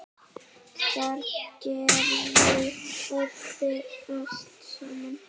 Þar gerðu allir allt saman.